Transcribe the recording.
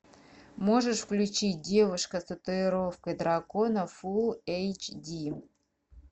можешь включить девушка с татуировкой дракона фулл эйч ди